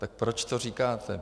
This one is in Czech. Tak proč to říkáte?